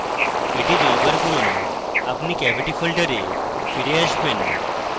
এটি দুইবার করুন আপনি cavity ফোল্ডারে ফিরে আসবেন